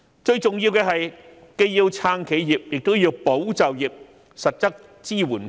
最重要的是，既要撐企業，亦要保就業，向僱員提供實質支援。